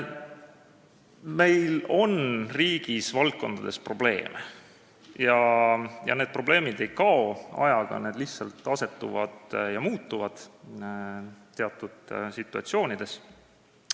" Meil on riigis mitmes valdkonnas probleeme ja need probleemid ei kao ajaga, need lihtsalt teatud situatsioonides muutuvad.